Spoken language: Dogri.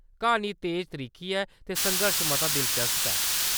क्हानी तेज-त्रिक्खी ऐ, ते संघर्श मता दिलचस्प ऐ।